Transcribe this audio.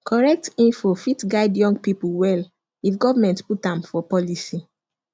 correct info fit guide young people well if government put am for policy